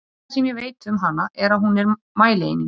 Það eina sem ég veit um hana er að hún er mælieining!